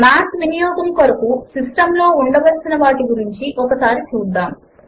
Math వినియోగము కొరకు system లో ఉండవలసినవాటి గురించి ఒకసారి చూద్దాము